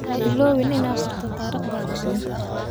Ha iloobin inaad qorto taariikhda manta.